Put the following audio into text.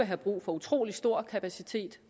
have brug for utrolig stor kapacitet